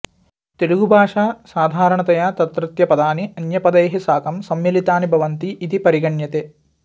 तेलुगुभाषा साधारणतया तत्रत्यपदानि अन्यपदैः साकं संमिलितानि भवन्ति इति परिगण्यते